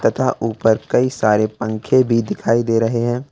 तथा उपर कई सारे पंखे भी दिखाई दे रहे हैं।